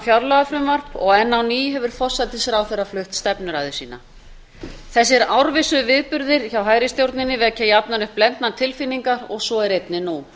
fjárlagafrumvarp og enn á ný hefur forsætisráðherra flutt stefnuræðu sína þessir árvissu viðburðir hjá hægri stjórninni vekja jafnan upp blendnar tilfinningar og svo er einnig nú